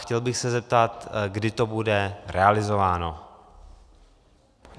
Chtěl bych se zeptat, kdy to bude realizováno.